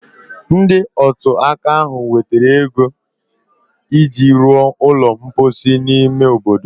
Ndị otu ụka ahụ wetara ego iji ruo ụlọ mposi n’ime obodo